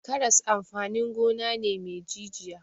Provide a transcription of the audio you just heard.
Karas amfanin gona ne me jijiya.